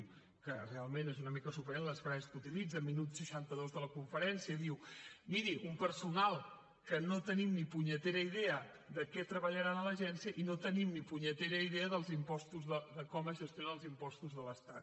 que realment és una mica sorprenent les frases que utilitza minut seixanta dos de la conferència diu miri un personal que no tenim ni punyetera idea de què treballaran a l’agència i no tenim ni punyetera idea dels impostos de com es gestionen els impostos de l’estat